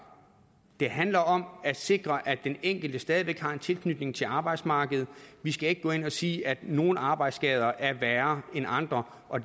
det handler om at sikre at den enkelte stadig væk har en tilknytning til arbejdsmarkedet vi skal ikke gå ind og sige at nogle arbejdsskader er værre end andre og